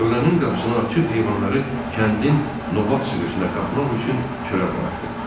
Tövlənin qapısını açıb heyvanları kəndin nobat sürüsünə qatmaq üçün çölə buraxdı.